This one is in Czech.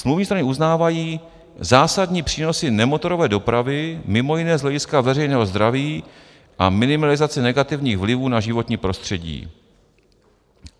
Smluvní strany uznávají zásadní přínos nemotorové dopravy, mimo jiné z hlediska veřejného zdraví a minimalizace negativních vlivů na životní prostředí.